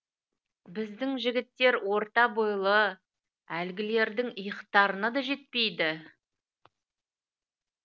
біздің жігіттер орта бойлы әлгілердің иықтарына да жетпейді